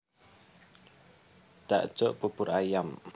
Dakjuk bubur ayam